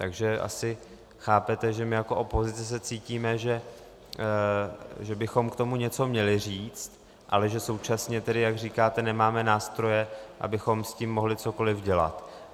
Takže asi chápete, že my jako opozice se cítíme, že bychom k tomu něco měli říct, ale že současně tedy, jak říkáte, nemáme nástroje, abychom s tím mohli cokoliv dělat.